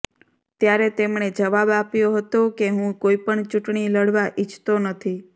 ત્યારે તેમણે જવાબ આપ્યો હતો કે હું કોઈપણ ચૂંટણી લડવા ઈચ્છતો નથી